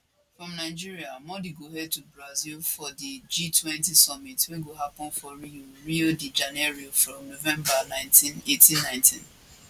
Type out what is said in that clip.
from nigeria modi go head to brazil for di g20 summit wey go happun for rio rio de janeiro from november 1819